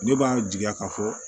Ne b'a jigiya ka fɔ